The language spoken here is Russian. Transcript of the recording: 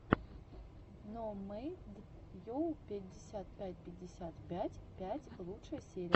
ноумэдйу пятьдесят пять пятьдесят пять пять лучшая серия